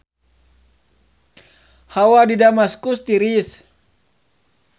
Hawa di Damaskus tiris